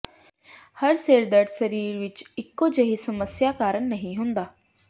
ਹਰ ਸਿਰ ਦਰਦ ਸਰੀਰ ਵਿਚ ਇੱਕੋ ਜਿਹੀ ਸਮੱਸਿਆ ਕਾਰਨ ਨਹੀਂ ਹੁੰਦਾ